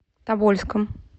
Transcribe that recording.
тобольском